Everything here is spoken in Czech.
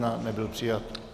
Nebyl přijat.